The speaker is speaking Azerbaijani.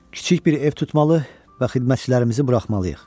Kiçik bir ev tutmalı və xidmətçilərimizi buraxmalıyıq.